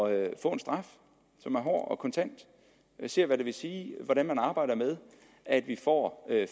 at få en straf som er hård og kontant og se hvad det vil sige at arbejde med at vi får